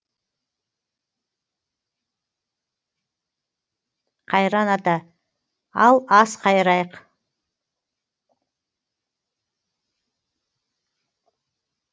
қайран ата ал ас қайырайық